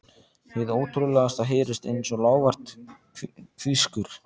Hið ótrúlegasta heyrist einsog lágvært hvískur.